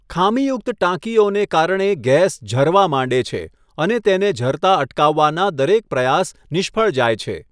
ખામીયુક્ત ટાંકીઓને કારણે ગેસ ઝરવા માંડે છે અને તેને ઝરતા અટકાવવાનાં દરેક પ્રયાસ નિષ્ફળ જાય છે.